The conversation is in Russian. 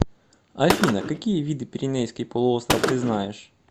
афина какие виды пиренейский полуостров ты знаешь